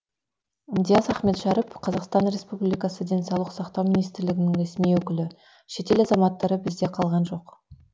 диас ахметшәріп қазақстан республикасы денсаулық сақтау министрлігінің ресми өкілі шетел азаматтары бізде қалған жоқ